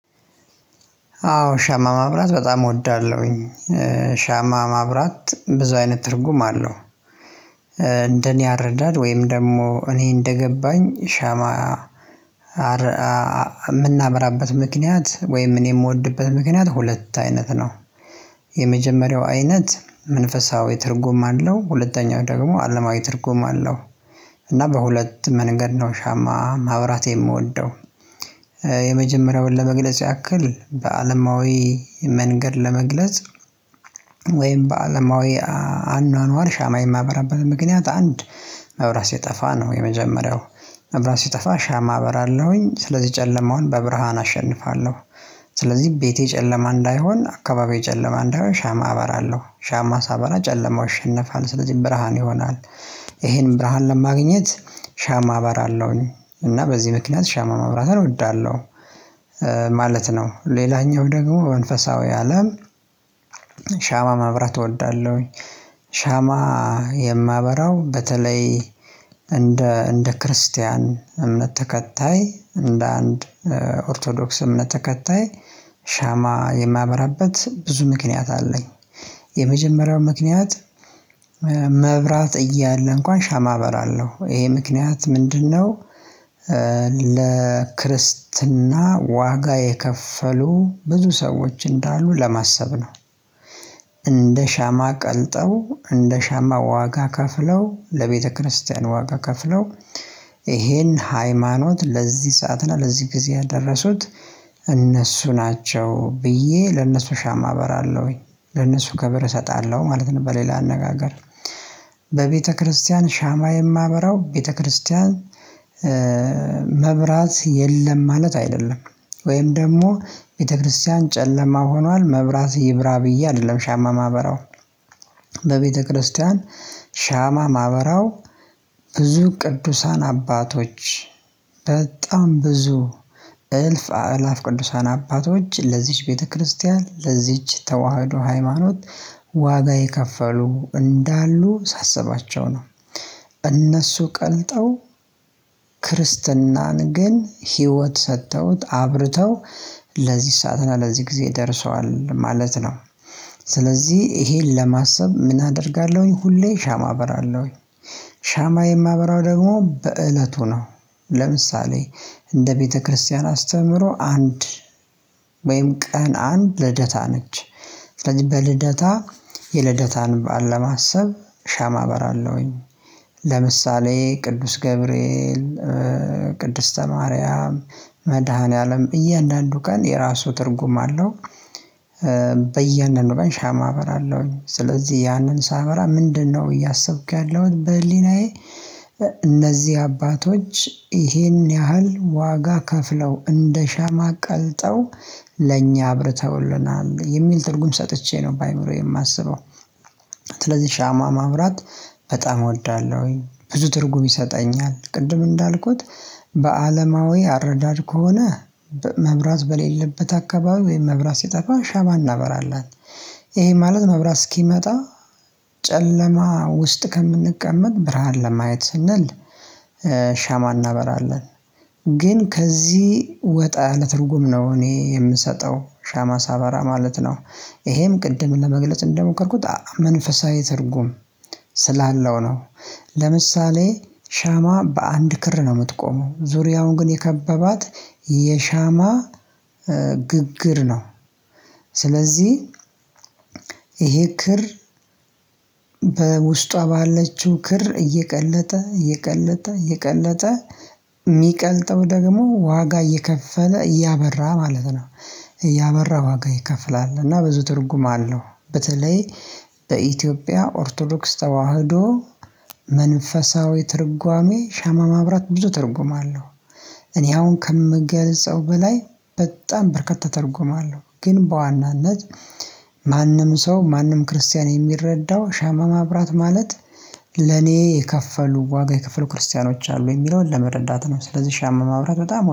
አዎ ሻማ ማብራት በጣም እወዳለሁኝ ሻማ ማብራት ብዙ አይነት ትርጉም አለው። እንደኔ አረዳድ ወይም ደግሞ እኔ እንደገባኝ ሻማ የምናበራበት ምክንያት ወይም እኔ የምወድበት ምክንያት ሁለት አይነት ነው። የመጀመሪያው አይነት መንፈሳዊ ትርጉም አለው። ሁለተኛው ደግሞ አለማዊ ትርጉም አለው። እና በሁለት መንገድ ነው ሻማ ማብራት የምወደው። የመጀመሪያውን ለመግለጽ ያክል በአለማዊ መንገድ ለመግለጽ ወይም በአለማዊ አኗኗር ሻማ የማበራበት ምክንያት አንድ መብራት ሲጠፋ ነው የመጀመሪያው። መብራት ሲጠፋ ሻማ አበራለሁኝ ጨለማውን በብርሃን አሸንፋለሁ። ስለዚህ ቤቴ ጨለማ እንዳይሆን አካባቢ ጨለማ እንዳይሆን ሻማ አበራለሁ። ሻማ ሳበራ ጨለማው አሸነፋለሁ ስለዚህ ብርሃን ይሆናል። ይሄንን ብርሃን ለማግኘት ሻማ አበራለሁኝ እና በዚህ ምክንያት ሻማ ማብራትን እወዳለሁ ማለት ነው። ሌላኛው ደግሞ መንፈሳዊ አለም ሻማ ማብራት እወዳለሁኝ። ሻማ የማበራው በተለይ እንደ እንደ ክርስቲያን እምነት ተከታይ እንደ አንድ ኦርቶዶክስ እምነት ተከታይ ሻማ የማበራበት ብዙ ምክንያት አለኝ። የመጀመሪያው ምክንያት መብራት እያለ እንኳን ሻማ አበራለሁ። ይሄ ምክንያት ምንድነው ለክርስትና ዋጋ የከፈሉ ብዙ ሰዎች እንዳሉ ለማሰብ ነው። እንደ ሻማ ቀልጠው እንደ ሻማ ዋጋ ከፍለው ለቤተክርስቲያን ዋጋ ከፍለው ይሄን ሃይማኖት ለዚህ ሰዓት እና ለዚህ ጊዜ ያደረሱት እነሱ ናቸው ብዬ ለነሱ ሻማ እበራለሁኝ ለነሱ ክብር እሰጣለሁ ማለት ነው በሌላ አነጋገር በቤተክርስቲያን ሻማ የማበራው ቤተክርስቲያን መብራት የለም ማለት አይደለም። ወይም ደግሞ ቤተክርስቲያን ጨለማ ሆኗል መብራት ይብራ ብዬ አይደለም ሻማ ማበራው። በቤተክርስቲያን ሻማ ማበራው ብዙ ቅዱሳን አባቶች በጣም ብዙ እልፍ አእላፍ ቅዱሳን አባቶች ለዚች ቤተክርስቲያን ለዚች ተዋህዶ ሃይማኖት ዋጋ የከፈሉ እንዳሉ ሳስባቸው ነው። እነሱ ቀልጠው ክርስትናን ግን ህይወት ሰጥተውት አብርተው ለዚህ ሳትና ለዚህ ጊዜ ደርሷል ማለት ነው። ስለዚህ ይሄን ለማሰብ ምን አደርጋለሁኝ ሁሌ ሻማ አበራለሁኝ። ሻማ የማበራው ደግሞ በእለቱ ነው ለምሳሌ እንደ ቤተክርስቲያን አስተምሮ አንድ ወይም ቀን አንድ ልደታ ነች። ስለዚህ በልደታ የልደታን በዓል ለማሰብ ሻማ አበራለውኝ ለምሳሌ ቅዱስ ገብርኤል፣ ቅድስተ ማርያም፣ መድኃኒዓለም እያንዳንዱ ቀን የራሱ ትርጉም አለው። በያንዳንዱ ቀን ሻማ አበራለሁኝ ስለዚህ ያንን ሳበራ ምንድነው እያሰብኩ ያለሁት በህሊናዬ እነዚህ አባቶች ይሄን ያህል ዋጋ ከፍለው እንደ ሻማ ቀልጠው ለእኛ አብርተውልናል የሚል ትርጉም ሰጥቼ ነው በአእምሮዬ የማስበው ስለዚህ ሻማ ማብራት በጣም እወዳለሁኝ ብዙ ትርጉም ይሰጠኛል ቅድም እንዳልኩት በአለማዊ አረዳድ ከሆነ መብራት በሌለበት አካባቢ ወይም ሲጠፋ ሸማ እናበራለን ይሄ ማለት መብራት እስኪመጣ ጨለማ ውስጥ ከምንቀመጥ ብርሃን ለማየት ስንል ሻማ እናበራለን ግን ከዚህ ወጣ ያለ ትርጉም ነው እኔ የምሰጠው ሻማ ሳበራ ማለት ነው። ይሄም ቅድም ለመግለጽ እንደሞከርኩት መንፈሳዊ ትርጉም ስላለው ነው። ለምሳሌ ሻማ በአንድ ክር ነው የምትቆመው፤ ዙሪያውን ግን የከበባት የሻማ ግግር ነው ስለዚህ ይሄ ክር በውስጧ ባለችው ክር እየቀለጠ እየቀለጠ እየቀለጠ የሚቀልጠው ደግሞ ዋጋ እየከፈለ እያበራ ማለት ነው እያበራ ዋጋ ይከፍላል እና ብዙ ትርጉም አለው በተለይ በኢትዮጵያ ኦርቶዶክስ ተዋህዶ መንፈሳዊ ትርጓሜ ሻማ ማብራት ብዙ ትርጉም አለው እኔ አሁን ከምገልጸው በላይ በጣም በርካታ ትርጉም አለው ግን በዋናነት ማንም ሰው ማንም ክርስቲያን የሚረዳው ሻማ ማብራት ማለት ለኔ የከፈሉ ዋጋ የክፍሉ ክርስቲያኖች አሉ የሚለውን ለመረዳት ነው ስለዚህ ሻማ ማብራት በጣም